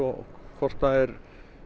hvort það er